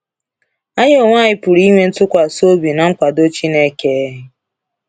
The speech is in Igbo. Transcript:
Anyị onwe anyị pụrụ inwe ntụkwasị obi na nkwado Chineke.